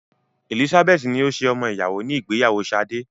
Elizabeth ni ó ṣe ọmọ ìyàwó ní ìgbéyàwó Sade.